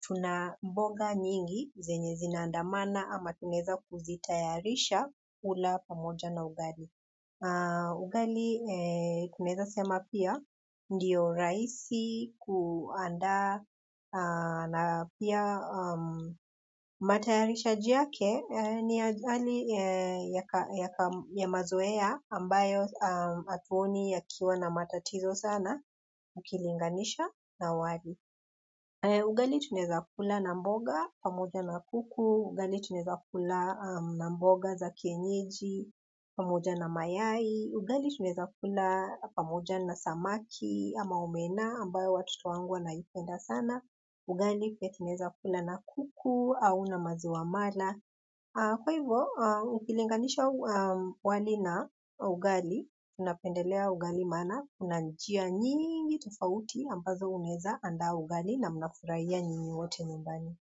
tuna mboga nyingi, zenye zinaandamana ama tunaweza kuzitayarisha ula pamoja na ugali. Ugali kunaweza sema pia ndiyo rahisi kuandaa na pia matayarishaji yake ni ya mazoea ambayo hatuoni yakiwa na matatizo sana ukilinganisha na wali ugali tunaweza kula na mboga, pamoja na kuku, ugali tunaweza kula na mboga za kienyeji, pamoja na mayai, ugali tuneza kula pamoja na samaki ama omena ambayo watoto wangu wanaipenda sana, ugali pia tunaweza kula na kuku au na maziwa mala. Kwa hivyo, ukilinganisha wali na ugali, unapendelea ugali maana, una njia nyingi tofauti ambazo unaweza andaa ugali na mnafurahia nyinyi wote nyumbani.